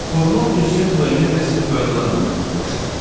Formal ünsiyyət müəyyən rəsmi qaydalarla məhdudlaşır.